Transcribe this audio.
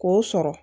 K'o sɔrɔ